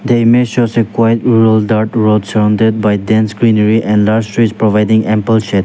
the image shows a quite role that road surrounded by dense greenary and large trees providing ample shade.